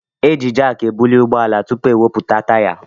Eji jaaki ebuli ụgbọala élú tụpụ ewepụta taya.